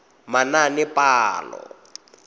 manaanepalo